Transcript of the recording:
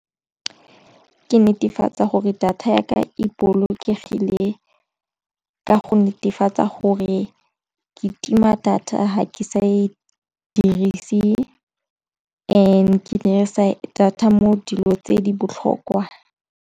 Ke netefatsa gore data ya ka e bolokegile ka go netefatsa gore ke tima data ga ke sa e dirise and ke ne re sa data mo dilo tse di botlhokwa.